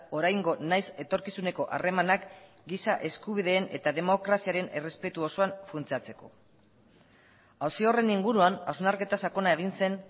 oraingo nahiz etorkizuneko harremanak giza eskubideen eta demokraziaren errespetu osoan funtsatzeko auzi horren inguruan hausnarketa sakona egin zen